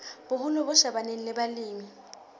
boholo bo shebaneng le balemi